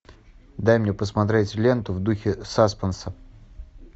дай мне посмотреть ленту в духе саспенса